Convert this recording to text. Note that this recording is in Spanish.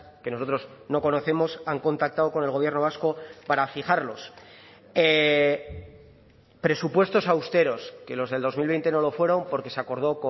que nosotros no conocemos han contactado con el gobierno vasco para fijarlos presupuestos austeros que los del dos mil veinte no lo fueron porque se acordó